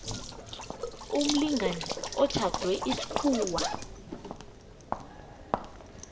umlingani otjhadwe isikhuwa